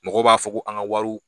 Mɔgɔ b'a fɔ ko an ka wariw